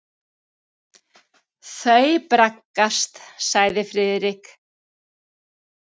Þau braggast sagði Friðrik.